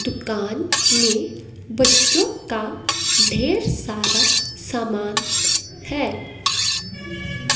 दुकान में बच्चों का ढेर सारा सामान है।